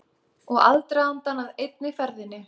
Og aðdragandann að einni ferðinni.